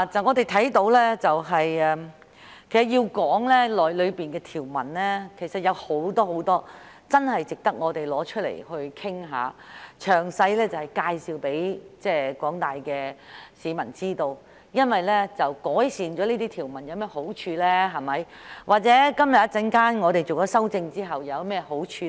我們看到，如果要討論當中的條文，其實有很多真的值得我們拿出來討論，向廣大市民詳細介紹，究竟改善條文後有何好處，以及今天稍後通過修正案後又有何好處，